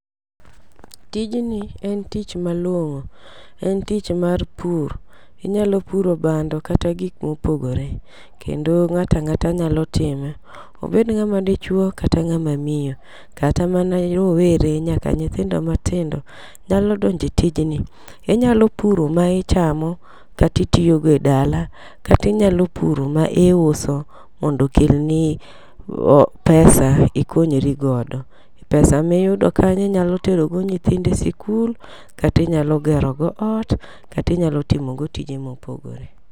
Tijni en tich malong'o, en tich mar pur. Inyalo puro bando kata gik mopogore. Kendo ng'ato ang'ata nyalo time, obed ng'ama dichuo kata ng'ama miyo kata mana rowere nyaka nyithindo matindo nyalo donjo e tijni. Inyalo puro ma ichamo kata itiyo go e dala, inyalo puro ma iuso mondo okelni pesa ikonyri godo. Pesa miyudo kanyo inyalöo tero odo nyiudno e sikul, kata inyalo gero godo t kata inyalo timo godo tije mopogore.